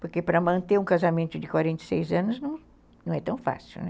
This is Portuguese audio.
Porque para manter um casamento de quarenta e seis anos não é tão fácil, né?